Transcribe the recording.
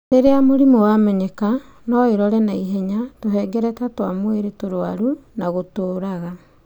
Rĩrĩa mũrimũ wamenyeka, no ĩrore na ihenya tũhengereta twa mwĩrĩ tũrwaru na gũtũraga